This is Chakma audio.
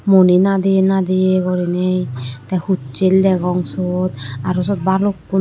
muni nadeya nadeya gorinay te hussel degong sot aro sot balukkun.